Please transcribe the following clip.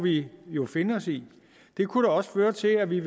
vi jo finde os i det kunne da også føre til at vi